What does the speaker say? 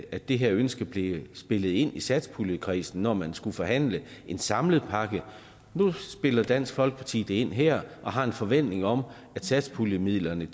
at det her ønske bliver spillet ind til satspuljekredsen når man skal forhandle en samlet pakke nu spiller dansk folkeparti det ind her og har en forventning om at satspuljemidlerne